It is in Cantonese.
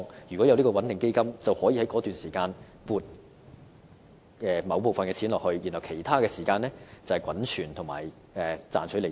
如果設立這個穩定基金，便可以在該段時間撥出某部分款項，而在其他時間，基金則可滾存和賺取利息。